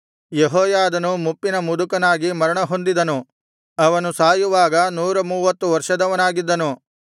ಯೆಹೋಯಾದನು ಮುಪ್ಪಿನ ಮುದುಕನಾಗಿ ಮರಣ ಹೊಂದಿದನು ಅವನು ಸಾಯುವಾಗ ನೂರಮೂವತ್ತು ವರ್ಷದವನಾಗಿದ್ದನು